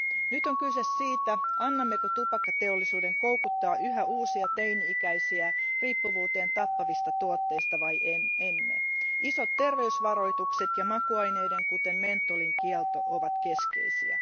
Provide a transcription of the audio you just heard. Nyt on kyse siitä, annammeko tupakkateollisuuden koukuttaa yhä uusia teini ikäisiä riippuvuuteen tappavista tuotteista vai emme. Isot terveysvaroitukset ja makuaineiden, kuten mentholin, kielto ovat keskeisiä.